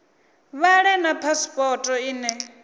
vha ḓe na phasipoto ine